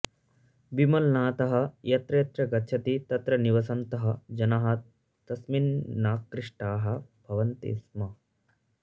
विमलनाथः यत्र यत्र गच्छति तत्र निवसन्तः जनाः तस्मिन्नाकृष्टाः भवन्ति स्म